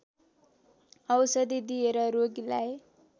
औषधि दिएर रोगीलाई